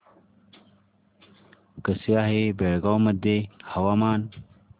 कसे आहे बेळगाव मध्ये हवामान